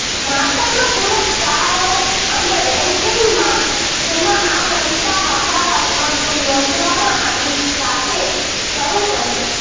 માતાનો પુરસ્કારો અને રેન્કિંગમાં જેમાં આ સંસ્થા હકારાત્મક નોંધવામાં આવી સાથે શરૂ કરીએ